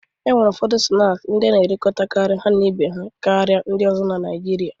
E nwere ụfọdụ snaakị ndị a na-erikọkarị ha na ibe ha karịa ndị ọzọ na Naịjirịa.